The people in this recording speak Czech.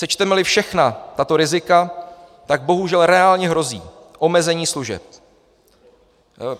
Sečteme-li všechna tato rizika, bohužel reálně hrozí omezení služeb.